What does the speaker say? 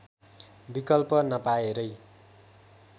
विकल्प नपाएरै